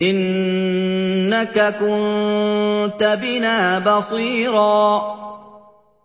إِنَّكَ كُنتَ بِنَا بَصِيرًا